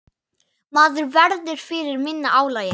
Maður verður fyrir minna álagi.